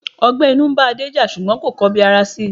Ọgbẹ́ inú ń bá Adé jà, ṣùgbọ́n kò kọ bi ara si.